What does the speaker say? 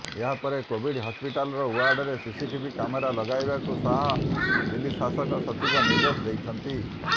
ଏହାପରେ କୋଭିଡ୍ ହସ୍ପିଟାଲର ଓ୍ୱାର୍ଡରେ ସିସିଟିଭି କ୍ୟାମେରା ଲଗାଇବାକୁ ଶାହ ଦିଲ୍ଲୀ ଶାସନ ସଚିବଙ୍କୁ ନିର୍ଦ୍ଦେଶ ଦେଇଛନ୍ତି